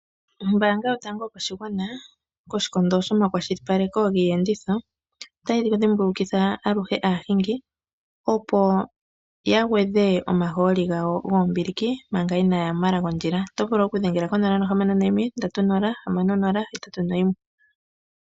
Ombaanga yotango yopashigwana koshikondo shiiyenditho otayi dhimbulikitha aluhe aahingi opo ya gwedhe omahooli gawo gombiiliki manga inaaya ya momala gondjila. Oto vulu oku dhengela konomola yo 061306081.